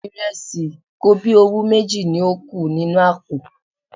Ìrẹsì kobíowú méjì ni ó kù nínú àpò.